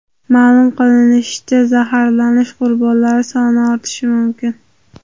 Ma’lum qilinishicha, zaharlanish qurbonlari soni ortishi mumkin.